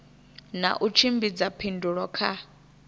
na u tshimbidza phindulo kha